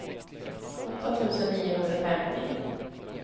åtta tusen niohundrafemtio